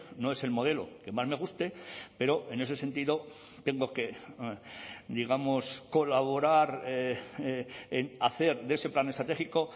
no es el modelo que más me guste pero en ese sentido tengo que digamos colaborar en hacer de ese plan estratégico